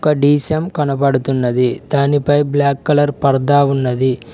డీసెం కనబడుతున్నది దానిపై black colour పడతా ఉన్నది.